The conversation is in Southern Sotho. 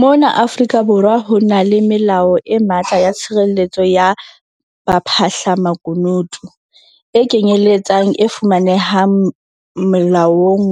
Mona Afrika Borwa ho na le melao e matla ya tshireletso ya baphahlamakunutu, e kenyeletsang e fumanehang Molaong